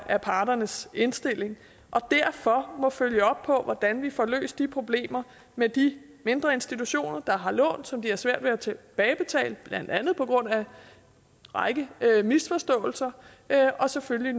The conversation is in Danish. af parternes indstilling og derfor må følge op på hvordan vi får løst de problemer med de mindre institutioner der har lån som de har svært ved at tilbagebetale blandt andet på grund af en række misforståelser og selvfølgelig